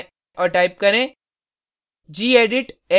terminal पर जाएँ और टाइप करें